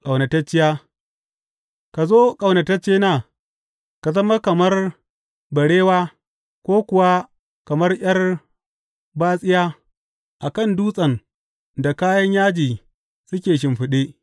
Ƙaunatacciya Ka zo, ƙaunataccena, ka zama kamar barewa ko kuwa kamar ’yar batsiya a kan dutsen da kayan yaji suke a shimfiɗe.